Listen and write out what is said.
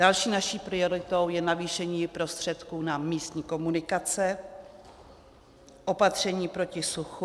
Další naší prioritou je navýšení prostředků na místní komunikace, opatření proti suchu.